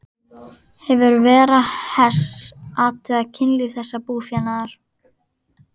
Hefur Vera Hess athugað kynlíf þessa búfénaðar?